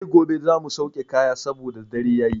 Sai gobe za mu sauke kaya saboda dare yayi.